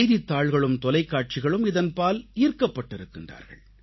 செய்தித்தாள்களும் தொலைக்காட்சிகளும் இதன்பால் ஈர்க்கப்பட்டிருக்கின்றார்கள்